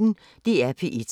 DR P1